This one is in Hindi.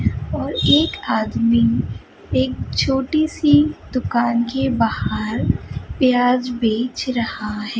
और एक आदमी एक छोटी सी दुकान के बाहर प्याज बेच रहा है।